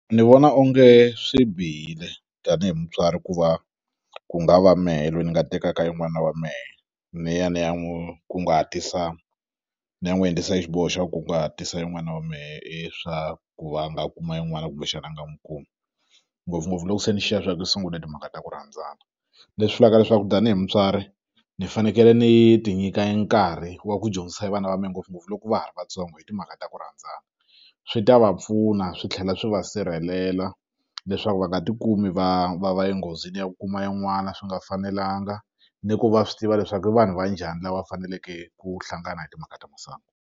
Ni vona onge swi bihile tanihi mutswari ku va ku nga va mehe loyi ni nga tekaka e n'wana wa mehe ni ya ni ya n'wu kunguhatisa ni ya n'wu endlisa xiboho xa kunguhatisa e n'wana wa mehe i swa ku va nga kuma i n'wana kumbexana a nga n'wu kumi ngopfungopfu loko se ni swa kui sungule timhaka ta ku rhandzana leswi hlaka leswaku tanihi mutswari ni fanekele ni ti nyika e nkarhi wa ku dyondzisa e vana va me ngopfungopfu loko va ha ri vatsongo hi timhaka ta ku rhandzana swi ta va pfuna swi tlhela swi va sirhelela leswaku va nga ti kumi va va va enghozini ya ku kuma e n'wana swi nga fanelanga ni ku va swi tiva leswaku i vanhu va njhani lava faneleke ku hlangana hi timhaka ta masangu.